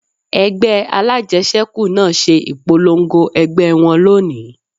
Ẹgbẹ́ alájẹsẹ́kù náà ṣe ìpolongo ẹgbẹ́ wọn lónìí